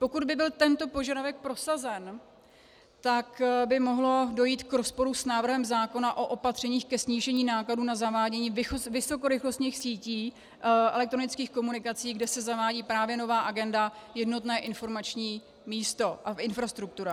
Pokud by byl tento požadavek prosazen, tak by mohlo dojít k rozporu s návrhem zákona o opatřeních ke snížení nákladů na zavádění vysokorychlostních sítí elektronických komunikací, kde se zavádí právě nová agenda jednotné informační místo a infrastruktura.